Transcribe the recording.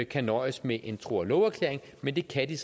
kan nøjes med en tro og love erklæring men det kan